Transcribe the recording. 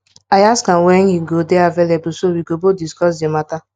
i ask am when him go dey available so we go both discuss the matter